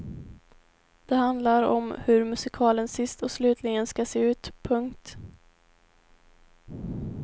Det handlar om hur musikalen sist och slutligen ska se ut. punkt